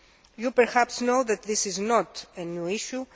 You perhaps know that this is not a new issue.